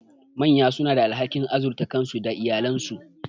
Manya suna da alhakin azurta kansu da iyalansu.